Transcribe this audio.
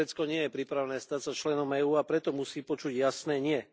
Turecko nie je pripravené stať sa členom EÚ, a preto musí počuť jasné nie.